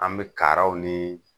An be kaaraw nii